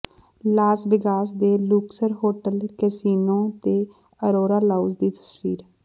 Las Vegas ਦੇ Luxor hotel casino ਤੇ Aurora lounge ਦੀ ਤਸਵੀਰ